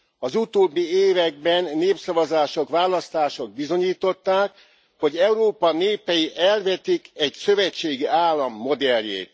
Az utóbbi években népszavazások, választások bizonyították, hogy Európa népei elvetik egy szövetségi állam modelljét.